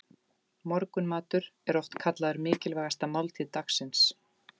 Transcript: Morgunmatur er oft kallaður mikilvægasta máltíð dagsins.